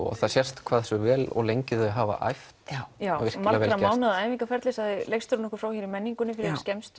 og það sést hversu vel og lengi þau hafa æft virkilega vel gert mánaða æfingaferli sagði leikstjórinn okkur frá í menningunni fyrir